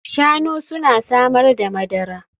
Shanu suna samar da madara